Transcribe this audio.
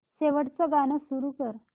शेवटचं गाणं सुरू कर